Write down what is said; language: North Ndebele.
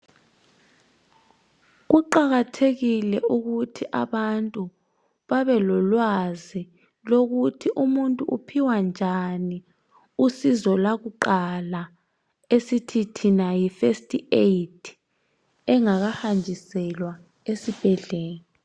Kuqakathekile ukuthi abantu babe lolwazi lokuthi umuntu uphiwa njani usizo lwakuqala esithithina yi first aid engakahanjiselwa esibhedlela.